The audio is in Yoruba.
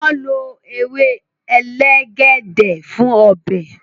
wón ló ewe elegede fún Ọbẹ̀